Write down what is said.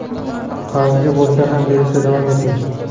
qarzga bo‘lsa ham berishda davom eting.